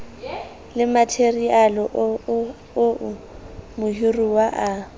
le matheriale oo mohiruwa a